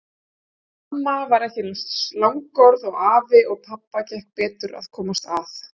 Amma var ekki eins langorð og afi og pabba gekk betur að komast að.